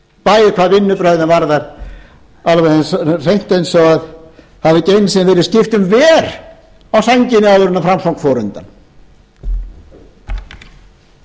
bæði hvað vinnubrögðin varðar alveg hreint eins og það hafi ekki einu sinni verið skipt um ver á sænginni áður en framsókn fór undan forseti vill spyrja háttvirtan